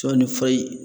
Sɔ ni fa ye